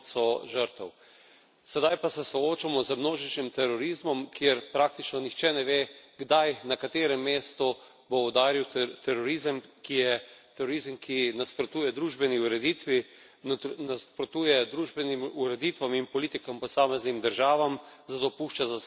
Sedaj pa se soočamo z množičnim terorizmom, kjer praktično nihče ne ve, kdaj, na katerem mestu bo udaril terorizem, ki nasprotuje družbeni ureditvi, nasprotuje družbenim ureditvam in politikam posameznih držav, zato pušča za sabo celo vrsto žrtev.